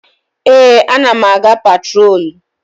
Ee, a na m aga patrolu.